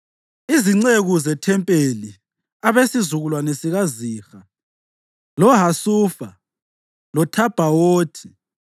Izinceku zethempelini: abesizukulwane sikaZiha, loHasufa loThabhawothi,